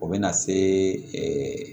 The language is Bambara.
O bɛ na se